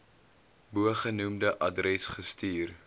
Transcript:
bogenoemde adres gestuur